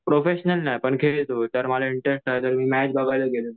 professional नाही तर खेळतो तर माझा मॅच बघायला गेले